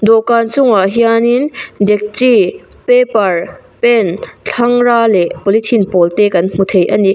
dawhkan chungah hianin dekchi paper pen thlangra leh polythene pawl te kan hmu thei a ni.